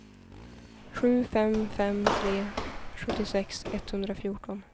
sju fem fem tre sjuttiosex etthundrafjorton